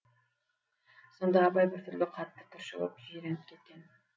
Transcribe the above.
сонда абай біртүрлі қатты түршігіп жиреніп кеткен